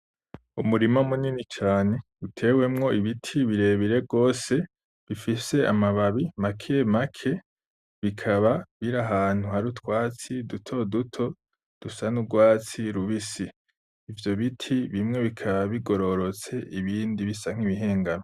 Umurima munini cane utewemwo ibiti birebire gose bifise amababi make make bikaba biri ahantu hari utwatsi dutoduto dusa N’urwatsi rubisi, ivyo biti bimwe bikaba bigororotse ibindi bisa nk'ibihigamye.